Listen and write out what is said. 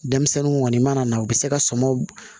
Denmisɛnninw kɔni mana na u bɛ se ka sɔmw